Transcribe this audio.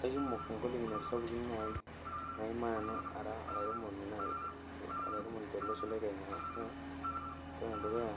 Kakumok ngolikinot sapukin naima namu ara olaremoni tolosho lekenya amu ore enedukuya